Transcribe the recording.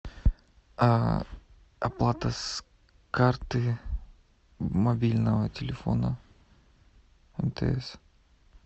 оплата с карты мобильного телефона мтс